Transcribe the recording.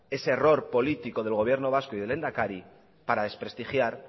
ese error político del gobierno vasco y del lehendakari para desprestigiar